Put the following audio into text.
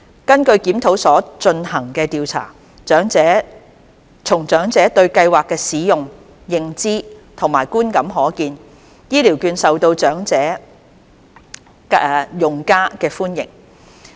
根據檢討所進行的調查，從長者對計劃的使用、認知和觀感可見，醫療券受到長者用家的歡迎。